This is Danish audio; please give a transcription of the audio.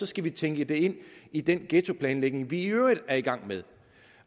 skal tænke det ind i den ghettoplanlægning vi i øvrigt er i gang med